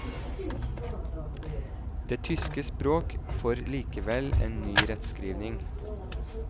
Det tyske språk får likevel en ny rettskrivning.